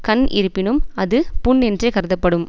கண் இருப்பினும் அது புண் என்றே கருதப்படும்